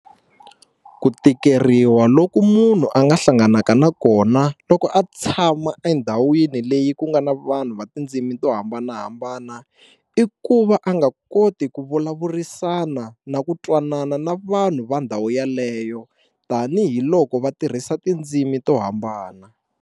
Ku tikeriwa loku munhu a nga hlanganaka na kona loko a tshama endhawini leyi ku nga na vanhu va tindzimi to hambanahambana i ku va a nga koti ku vulavurisana na ku twanana na vanhu va ndhawu yaleyo tanihiloko va tirhisa tindzimi to hambana.